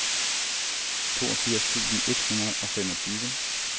toogfirs tusind et hundrede og femogtyve